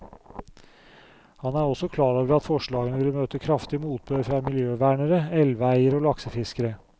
Han er også klar over at forslagene vil møte kraftig motbør fra miljøvernere, elveeiere og laksefiskere.